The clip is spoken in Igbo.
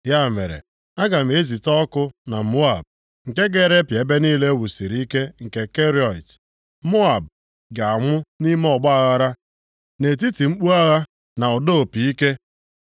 Ya mere, aga m ezite ọkụ na Moab, nke ga-erepịa ebe niile e wusiri ike nke Keriọt. Moab ga-anwụ nʼime ọgbaaghara, nʼetiti mkpu agha, na ụda opi ike.